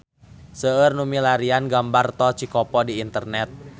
Seueur nu milarian gambar Tol Cikopo di internet